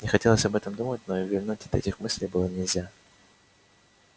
не хотелось об этом думать но и увильнуть от этих мыслей было нельзя